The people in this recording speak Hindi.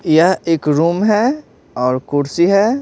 यह एक रूम है और कुर्सी है।